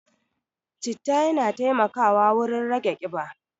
Citta yana taimakawa wurin rage ƙiba.